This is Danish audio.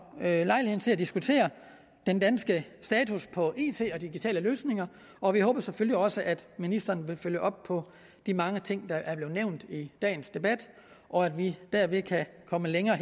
lejligheden til at diskutere den danske status på it og digitale løsninger og vi håber selvfølgelig også at ministeren vil følge op på de mange ting der er blevet nævnt i dagens debat og at vi derved kan komme længere